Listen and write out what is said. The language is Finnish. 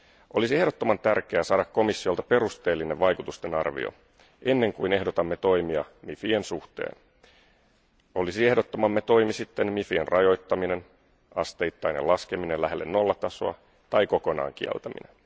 Olisi ehdottoman tärkeää saada komissiolta perusteellinen vaikutustenarvio, ennen kuin ehdotamme toimia MIFien suhteen, olisi ehdottamamme toimi sitten MIFien rajoittaminen, asteittainen laskeminen lähelle nollatasoa tai kokonaan kieltäminen.